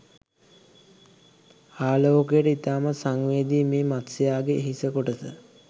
ආලෝකයට ඉතාමත් සංවේදී මේ මත්ස්‍යයාගේ හිස කොටස